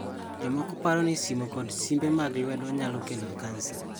Jomoko parore ni simo kod simbe mag lwedo nyalo kelo kansa.